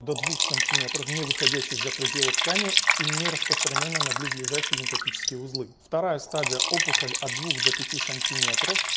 до двух сантиметров не выходящие за пределы ткани и нераспространенные на близлежащие лимфатические узлы вторая стадия опухоли от двух до пяти сантиметров